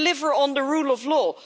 We deliver on the rule of law.